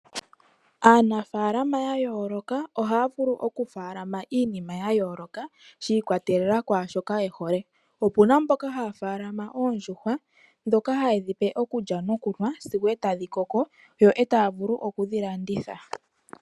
Aanafalama ya yooloka ohaya vulu okufaalama iinima ya yooloka shi ikwatelela kwaashoka ye hole okuna mboka haya faalamaboondjuhwa dhoka hayedhi pe okulya nokunwa sigo tadhi koko yo taya vulu okudhi landitha.